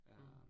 Mh